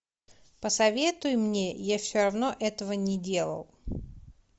посоветуй мне я все равно этого не делал